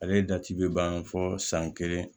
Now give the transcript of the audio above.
Ale da ci bɛ ban fo san kelen